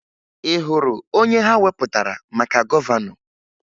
Ị hụrụ onye ha wepụtara maka gọvanọ?